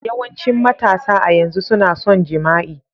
Yawancin matasa a yanzu suna son jima'i.